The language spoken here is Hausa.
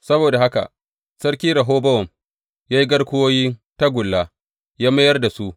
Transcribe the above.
Saboda haka sarki Rehobowam ya yi garkuwoyin tagulla ya mayar da su.